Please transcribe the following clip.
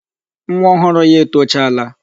Nwa ọhụrụ ya etochaala.